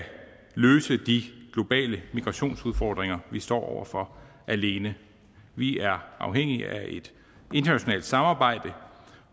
løse de globale migrationsudfordringer vi står over for alene vi er afhængige af et internationalt samarbejde